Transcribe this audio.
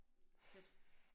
Fedt